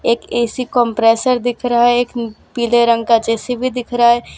एक AC compressor दिख रहा है एक पीले रंग का जे_सी_बी दिख रहा है।